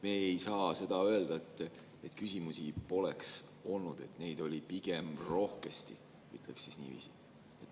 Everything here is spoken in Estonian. Me ei saa seda öelda, et küsimusi poleks olnud, neid oli pigem rohkesti, ütleksin niiviisi.